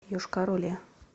йошкар оле